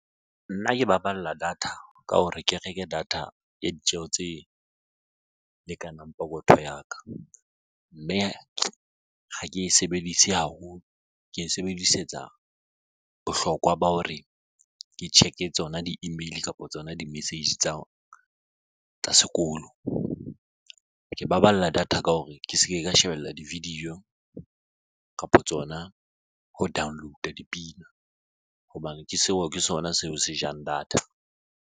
Nna ke baballa data ka hore ke reke data ya ditjeho tse lekanang pokotho ya ka mme ha ke e sebedise haholo ke e sebedisetsa bohlokwa ba hore ke check-e tsona di-email kapa tsona di-message tsa sekolo. Ke baballa data ka hore ke se ke ka shebella di-video kapa tsona ho download-a dipina hobane ke seo ke sona seo se jang data.